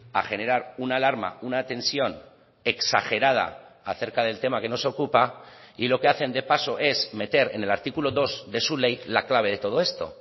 a generar una alarma una tensión exagerada acerca del tema que nos ocupa y lo que hacen de paso es meter en el artículo dos de su ley la clave de todo esto